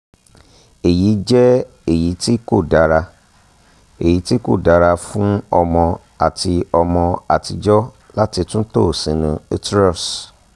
eyi jẹ eyiti ko dara eyiti ko dara fun ọmọ ati ọmọ atijọ lati tunto sinu uterus